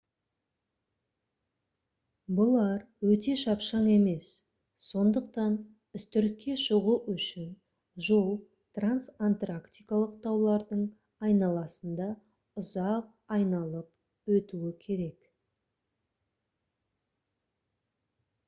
бұлар өте шапшаң емес сондықтан үстіртке шығу үшін жол трансантарктикалық таулардың айналасында ұзақ айналып өтуі керек